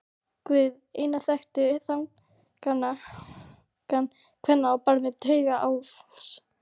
Guð einn þekkti þankagang kvenna á barmi taugaáfalls.